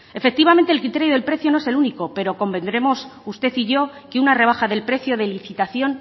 efectivamente el criterio del precio no es el único pero convendremos usted y yo que una rebaja del precio de licitación